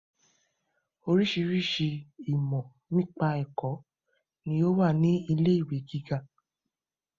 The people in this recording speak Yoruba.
Oríṣiríṣi ìmọ̀ nípa ẹ̀kọ́ ni ó wà ní ilé ìwé gíga.